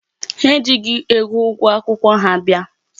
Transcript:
Ha ejighị ego ụgwọ akwụkwọ ha bịa.